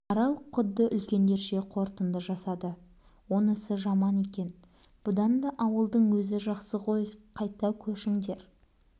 арал құдды үлкендерше қорытынды жасады онысы жаман екен бұдан да ауылдың өзі жақсы ғой қайта көшіңдер